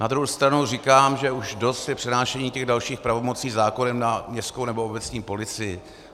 Na druhou stranu říkám, že už dost je přenášení těch dalších pravomocí zákonem na městskou nebo obecní policii.